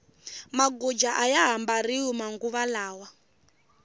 maguja aya ha mbariwi manguva lawa